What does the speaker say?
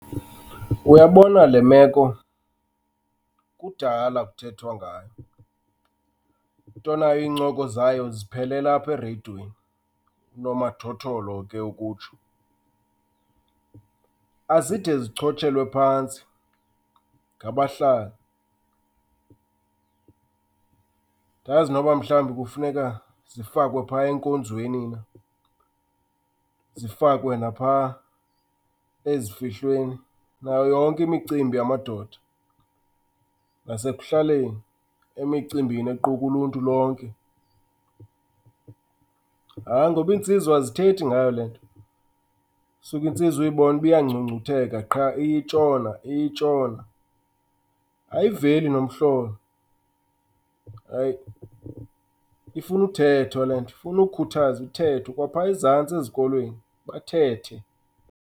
Uyabona le meko, kudala kuthethwa ngayo. Into nayo iincoko zayo ziphelela apha ereyidweni, unomathotholo ke ukutsho. Azide zichotshelwe phantsi ngabahlali. Andazi noba mhlawumbi kufuneka zifakwe phaya enkonzweni na, zifakwe naphaa ezifihlweni nayo yonke imicimbi yamadoda, nasekuhlaleni emicimbini equka uluntu lonke. Hayi, ngoba iintsizwa azithethi ngayo le nto. Usuke intsizwa uyibone uba iyangcungcutheka qha, iye itshona iye itshona, ayiveli nomhlolo. Hayi, ifuna uthethwa le nto. Ifuna ukukhuthazwa, ithethwe kwaphaa ezantsi ezikolweni, bathethe.